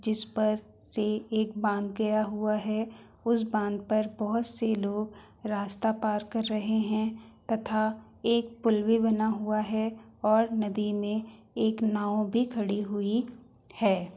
जिस पर से एक बांध गया हुआ है उस बांध पर बहुत से लोग रास्ता पार कर रहे है तथा एक पुल भी बना हुआ है और नदी में एक नाव भी खड़ी हुई है।